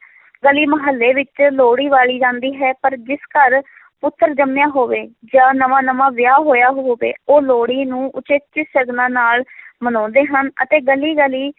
ਗਲੀ ਮਹੱਲੇ ਵਿੱਚ ਲੋਹੜੀ ਬਾਲੀ ਜਾਂਦੀ ਹੈ, ਪਰ ਜਿਸ ਘਰ ਪੁੱਤਰ ਜੰਮਿਆ ਹੋਵੇ ਜਾਂ ਨਵਾਂ ਨਵਾਂ ਵਿਆਹ ਹੋਇਆ ਹੋਵੇ, ਉਹ ਲੋਹੜੀ ਨੂੰ ਉਚੇਚੇ ਸ਼ਗਨਾਂ ਨਾਲ ਮਨਾਉਂਦੇ ਹਨ ਅਤੇ ਗਲੀ ਗਲੀ